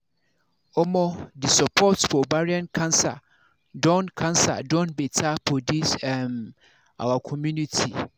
omo the support for ovarian cancer don cancer don better for this um our community